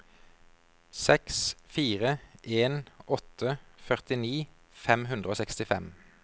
seks fire en åtte førtini fem hundre og sekstifem